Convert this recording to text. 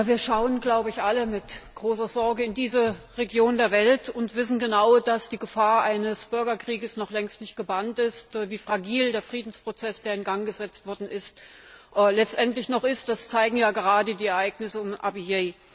Wir schauen alle mit großer Sorge in diese Region der Welt und wissen genau, dass die Gefahr eines Bürgerkriegs noch längst nicht gebannt ist. Wie fragil der Friedensprozess, der in Gang gesetzt wurde, letztendlich noch ist, zeigen gerade die Ereignisse in Abyei.